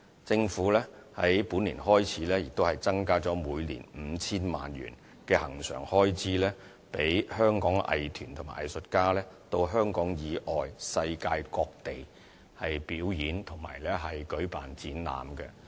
政府在本年度開始增加了每年 5,000 萬元的恆常開支，讓香港藝團和藝術家到香港以外、世界各地表演和舉辦展覽。